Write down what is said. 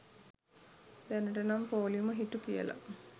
දැනටනම් පෝළිම හිටු කියලා.